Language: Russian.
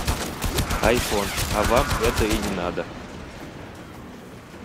айфон а вам это и не надо